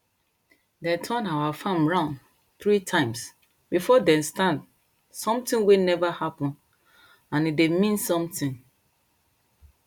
dem turn our farm round three times before dem stand something wey never happen and e dey mean something